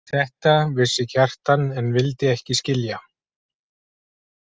Þetta vissi Kjartan en vildi ekki skilja.